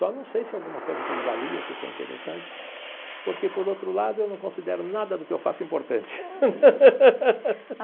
Só não sei se alguma coisa foi de valia, se foi interessante, porque, por outro lado, eu não considero nada do que eu faço importante.